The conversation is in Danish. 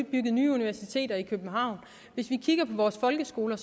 bygget nye universiteter i københavn hvis vi kigger på vores folkeskoler